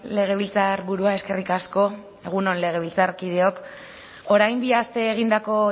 legebiltzarburua eskerrik asko egun on legebiltzarkideok orain bi aste egindako